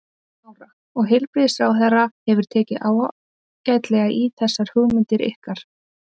Lára: Og heilbrigðisráðherra hefur tekið ágætlega í þessar hugmyndir ykkar?